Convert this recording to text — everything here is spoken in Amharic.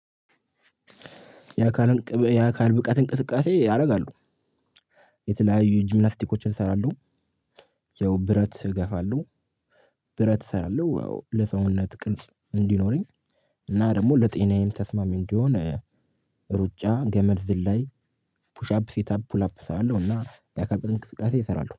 የአካል የአካል ብቃት እንቅስቃሴ ያደርጋሉ የተለያዩ ጂምናስቲኮችን እሰራለሁ። ያው ብረት እገፋለሁ። ብረት እሰራለሁ ያው ለሰውነት ቅርጽ እንዲኖረኝ እና ደግሞ ለጤናዬም ተስማሚ እንዲሆን። ሩጫ ገመድ ዝላይ። ፑሻፕ ሴት አፕ ፑል አፕ እሰራለሁ እና የአካል ብቃት እንቅስቃሰ እሰራለሁ